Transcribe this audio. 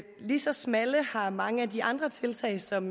lige så smalle har mange af de andre tiltag som